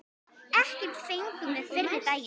Ekkert fengum við fyrri daginn.